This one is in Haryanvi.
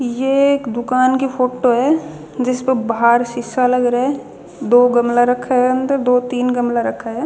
ये एक दूकान की फोटो ह जिसपे बाहर शीशा लग रा हदो गमला रखा ह अंदर दो तीन गमला रखा ह.